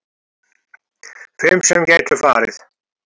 Fimm sem gætu farið